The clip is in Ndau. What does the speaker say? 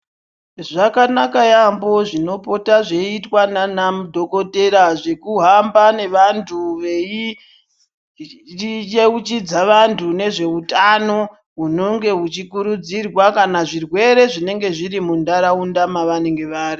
Zvakanaka yaambo zvinopotwa zveiitwa nanadhokodheya zvekuhamba nevanthu veiyeuchidza vanthu ngezveutano hunonge huchikurudzirwa kana zvirwere zvinenge zviri muntharaunda mavanenge vari.